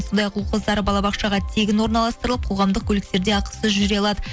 сондай ақ ұл қыздары балабақшаға тегін орналастырып қоғамдық көліктерде ақысыз жүре алады